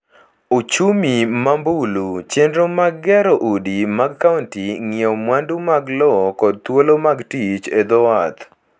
ochumi ma mbulu, chenro mag gero udi mag kaonti, ng’iewo mwandu mag lo kod thuolo mag tich e dho wath.